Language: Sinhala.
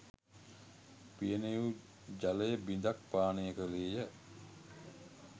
පියනේ වූ ජලය බිඳක් පානය කළේය